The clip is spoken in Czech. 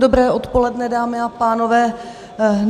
Dobré odpoledne, dámy a pánové.